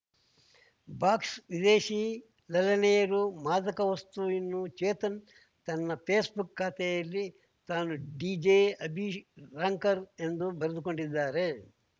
box ವಿದೇಶಿ ಲಲ್ಲನೆಯರು ಮಾದಕ ವಸ್ತು ಇನ್ನೂ ಚೇತನ್‌ ತನ್ನ ಫೇಸ್‌ಬುಕ್‌ ಖಾತೆಯಲ್ಲಿ ತಾನೂ ಡಿಜೆ ಅಭಿ ರಾಂಕರ್ ಎಂದೂ ಬರೆದುಕೊಂಡಿದ್ದಾರೆ